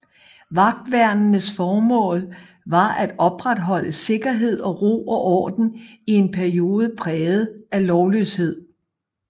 Vagtværnenes formål var at opretholde sikkerhed og ro og orden i en periode præget af lovløshed